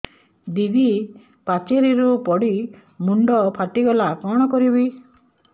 ଦିଦି ପାଚେରୀରୁ ପଡି ମୁଣ୍ଡ ଫାଟିଗଲା କଣ କରିବି